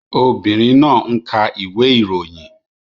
Obìnrin náà ń ka ìwé ìròyìn